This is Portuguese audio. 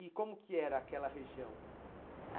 E como que era aquela região? Ah